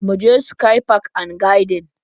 Mu je sky park and gardens